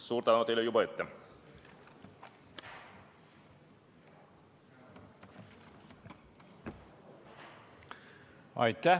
Suur tänu teile juba ette!